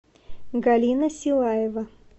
галина силаева